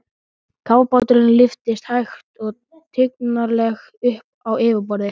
Kafbáturinn lyftist hægt og tignarlega upp á yfirborðið.